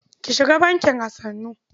Ki shiga bankin a sannu.